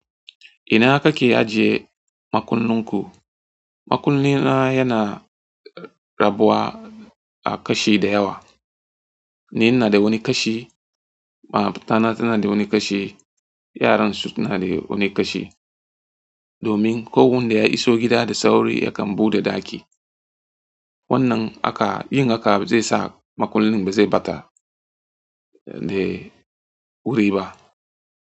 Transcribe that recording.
Ina kake ajiye makunnunku? Makulli na yana rabuwa a kashi da yawa. Ni ina da wani kashi, matana tana da wani kashi, yaran su suna da wani kashi. Domin ko wanda ya iso gida da sauri yakan buɗe ɗaki. Wannan haka yin haka ba zai sa maƙullin ba zai ɓata da wuri ba.